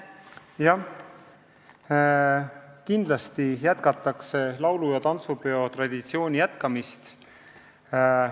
Kindlasti laulu- ja tantsupidude traditsioon jätkub.